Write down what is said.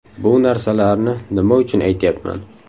Bu narsalarni nima uchun aytyapman?